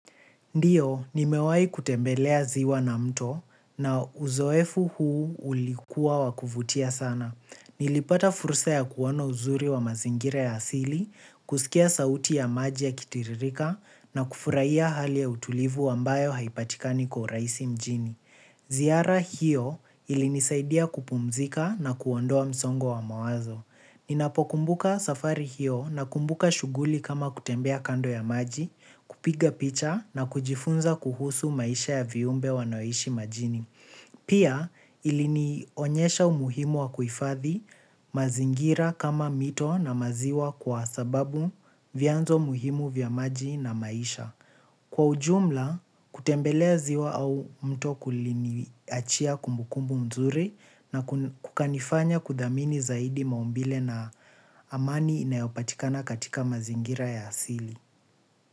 Ndiyo, nimewahi kutembelea ziwa na mto na uzoefu huu ulikuwa wakuvutia sana. Nilipata fursa ya kuona uzuri wa mazingira ya asili, kusikia sauti ya maji yakitiririka na kufurahiya hali ya utulivu ambayo haipatikani kwa uraisi mjini. Zihara hiyo ilinisaidia kupumzika na kuondoa msongo wa mawazo. Ninapo kumbuka safari hiyo na kumbuka shughuli kama kutembea kando ya maji, kupiga picha na kujifunza kuhusu maisha ya viumbe wanaoishi majini. Pia ilinionyesha umuhimu wa kuhifadhi mazingira kama mito na ma ziwa kwasababu vyanzo muhimu vya maji na maisha. Kwa ujumla, kutembelea ziwa au mto kuliniachia kumbukumbu mzuri na kukanifanya kuthamini zaidi maumbile na amani inayopatikana katika mazingira ya asili.